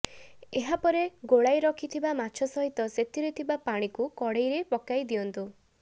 ଏହା ପରେ ଗୋଳାଇ ରଖିଥିବା ମାଛ ସହିତ ସେଥିରେ ଥିବା ପାଣିକୁ କଡ଼େଇରେ ପକାଇ ଦିଅନ୍ତୁ